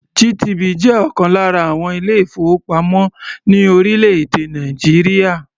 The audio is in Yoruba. GTB jẹ́ ọ̀kan lára àwọn ilé-ìfowópamọ́ ní orílẹ̀-èdè Nàìjíríà.